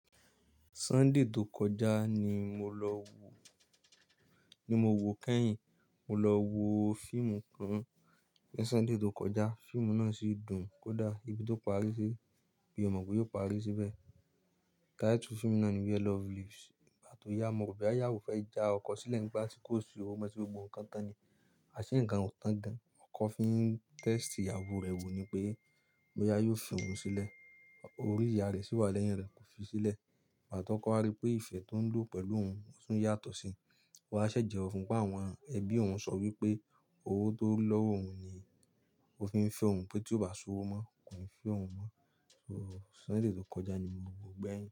Sunday tó kọjá ni mo lọ wo, ni mo woo kẹ́yìn, mo lọ wo fíìmù kan ní Sunday tó kọjá. Fíìmù náà sì dùn kódà ibi tó parí sí, mi o mọ̀ pé yóò parí síbẹ̀. Title fíìmù náà ni Where Love Lives. Ìgbà tó yá, mo rọ̀ boya iyàwó fẹ́ já ọkọ sílẹ̀ nígbà tí kò sí owó mo ti gbogbo nnkan tán ni. Ase ńkan ò tan gan-an. Ọkọ fi ń test ìyàwó rẹ̀ wò ní pé, boya yóò fi òun sílẹ̀. Orí ìyáa rẹ̀ sì wà lẹ́yìn rẹ̀, kò fi sílẹ̀. Ìgbà tókọ́ wa rí pé ìfẹ́ tó ń lọ pẹ̀lú òun ò tún yàtọ̀ síi. O wa ṣẹ̀ jẹwọ́ fún-un pé àwọn ẹbí òun sọ wípé owó tó ń ri lọ́wọ́ òun ni ó fi ń fẹ́ òun pé tí ó bá ṣòwò mọ́, kò ní fẹ́ òun mọ́. So, Sunday tó kọjá ni mo woo gbẹ̀yìn.